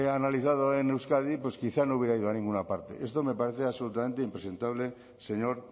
analizado en euskadi pues quizá no hubiera ido a ninguna parte esto me parece absolutamente impresentable señor